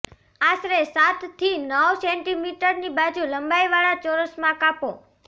આશરે સાત થી નવ સેન્ટિમીટરની બાજુ લંબાઈવાળા ચોરસમાં કાપો